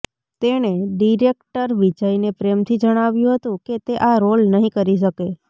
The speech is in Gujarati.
તેણે ડિરેક્ટર વિજયને પ્રેમથી જણાવ્યું હતું કે તે આ રોલ નહિ કરી શકે